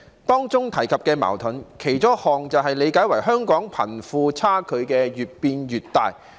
當中提及的矛盾，其中一項可理解為香港貧富差距越變越大。